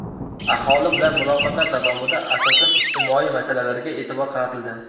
Aholi bilan muloqotlar davomida asosan ijtimoiy masalalarga e’tibor qaratildi.